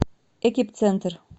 экип центр